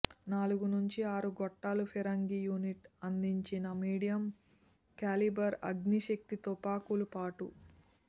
నాలుగు నుంచి ఆరు గొట్టాల ఫిరంగి యూనిట్ అందించిన మీడియం క్యాలిబర్ అగ్ని శక్తి తుపాకులు పాటు